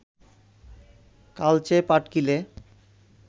কালচে পাটকিলে